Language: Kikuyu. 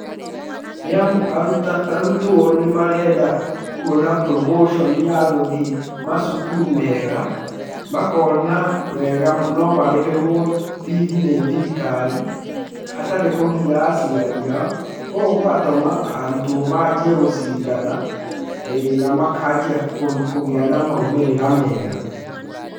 Nĩamu arutwo nĩ maretha kuona promotion ya gũthĩĩ macukuru mega, makona wega no marĩhĩrwo bithi nĩ thirikari, hatarĩ kũgia aciari ao gũgatũma arutwo majie gũcindana, ĩĩ na makajia kũgĩa na maumĩrĩra mega.